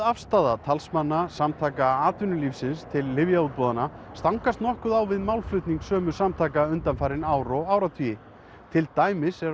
afstaða talsmanna samtaka atvinnurekenda til lyfjaútboðanna stangast nokkuð á við málflutning sömu samtaka undanfarin ár og áratugi til dæmis er